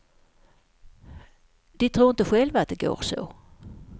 De tror inte själva att det går så.